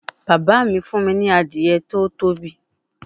Baba mi fun mi ni Adiye to tobi